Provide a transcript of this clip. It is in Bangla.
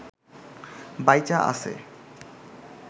বাইচা আছে